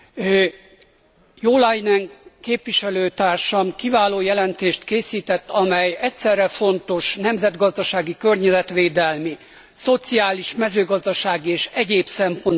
Jo Leinen képviselőtársam kiváló jelentést készített, amely egyszerre fontos nemzetgazdasági, környezetvédelmi, szociális, mezőgazdasági és egyéb szempontból egyaránt.